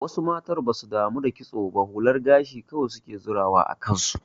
Wasu mata basu damu da kitso ba hular gashi kawai suke zirawa a kansu.